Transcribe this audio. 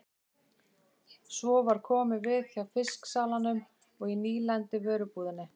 Svo var komið við hjá fisksalanum og í nýlenduvörubúðinni.